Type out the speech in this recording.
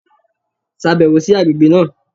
Ṣàbẹ̀wò sí àgbègbè náà!